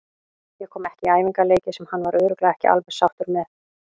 Ég kom ekki í æfingaleiki sem hann var örugglega ekki alveg sáttur með.